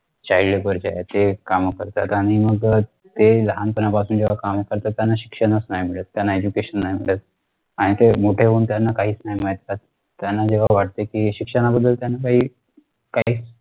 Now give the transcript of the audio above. child labor जे आहे ते काम करतात आणि मग ते लहानपणापासून जेव्हा काम करतात त्यांना शिक्षण च नाही मिळत त्यांना education नाही मिळत आणि ते मोठे होऊन त्यांना काहीच माहित नाही राहत त्यांना जेव्हा वाटत शिक्षणाबद्दल त्यांना काही काहीच